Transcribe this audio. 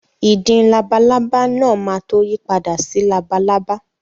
Ìdin labalábá náà máa tó yí padà sí labalábá.